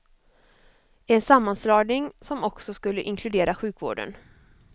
En sammanslagning som också skulle inkludera sjukvården.